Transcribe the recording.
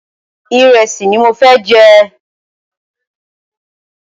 Ìrẹ́sì ni mo fẹ́ jẹ.